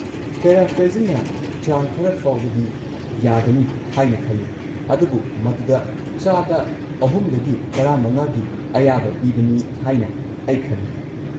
ꯄꯦꯔꯥꯐ꯭ꯔꯦꯖꯤꯡꯅ ꯆꯥꯡ ꯈꯔ ꯐꯥꯎꯕꯗꯤ ꯌꯥꯒꯅꯤ ꯍꯥꯏꯅ ꯈꯜꯂꯤ, ꯑꯗꯨꯕꯨ ꯃꯗꯨꯗ ꯳-꯱꯵% ꯒꯤ ꯑꯌꯥꯕ ꯄꯤꯕꯅꯤ ꯍꯥꯏꯅ ꯑꯩ ꯈꯜꯤ꯫